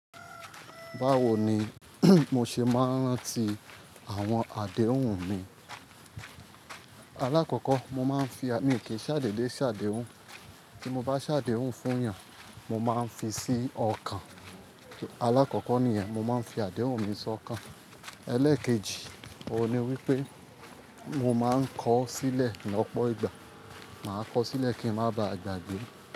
Báwo ni mo ṣe máa ń ranti àwọn àdéhùn mi. Alákọ̀kọ́ mo máa ń fi, à mi ò kí ń ṣàdédé ṣàdéhùn, tí mo bá ṣàdéhùn fún èèyàn mo máa ń fi sí ọkàn. Alákọ̀kọ́ nìyẹn mo máa ń fi àdéhùn mi sí ọkàn. Ẹlẹ́keji òun ni wípé mo máa ń kọ sílẹ̀ ní ọ̀pọ̀ ìgbà. Màá kọ sílẹ̀ kí ń má ba à gbàgbé.